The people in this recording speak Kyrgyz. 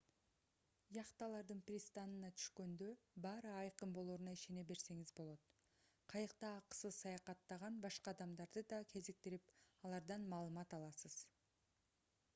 яхталардын пристанына түшкөндө баары айкын болоруна ишене берсеңиз болот кайыкта акысыз саякатттаган башка адамдарды да кезиктирип алардан маалымат аласыз